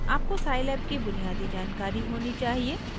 आपको scilab की बुनियादी जानकारी होनी चाहिए